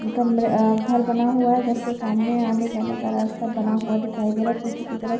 कमरे अ घर बना हुआ है। घर के सामने आने जाने का रास्ता बना हुआ दिखाई दे रहा है पिछे की तरफ।